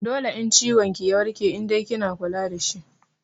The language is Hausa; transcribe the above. Dole in ciwon ki ya warke in dai kina kula dashi